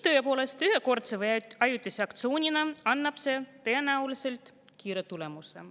Tõepoolest, ühekordse või ajutise aktsioonina annab see tõenäoliselt kiire tulemuse.